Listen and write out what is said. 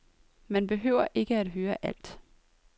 Man behøver ikke at høre alt.